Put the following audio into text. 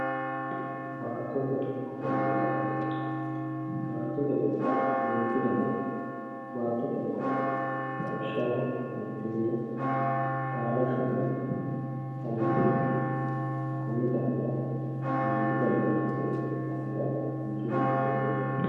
baatate ofollanna xagge baatote ofolla duchu dani baatote ofolla no lawishshaho gottiima, itaalashshonna alillitte konni daafira duuchu dani baatate ofolla heera manchu beettira lowo garinni